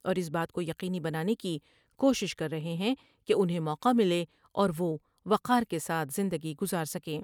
اور اس بات کو یقینی بنانے کی کوشش کر رہے ہیں کہ انہیں موقع ملے اور وہ وقار کے ساتھ زندگی گذار سکے ۔